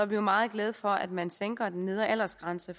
vi meget glade for at man sænker den nedre aldersgrænse